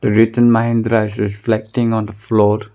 The written mahindra is reflecting on the floor.